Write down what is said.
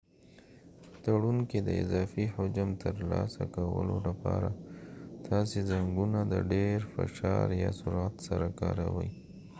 په تړون کې د اضافي حجم ترلاسه کولو لپاره تاسي زنګونه د ډیر فشار یا سرعت سره کاروئ